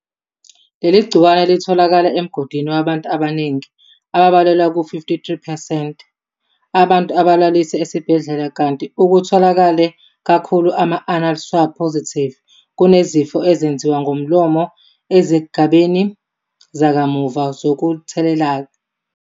Leli gciwane litholakele emgodini wabantu abaningi ababalelwa ku-53 percent abantu abalaliswe esibhedlela kanti okutholakele kakhulu ama-anal swab positives kunezifo ezenziwa ngomlomo ezigabeni zakamuva zokutheleleka.